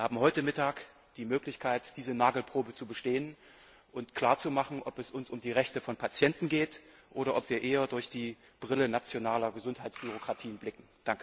Wir haben heute Mittag die Möglichkeit, diese Nagelprobe zu bestehen und klar zu machen, ob es uns um die Rechte von Patienten geht oder ob wir eher durch die Brille nationaler Gesundheitsbürokratien blicken.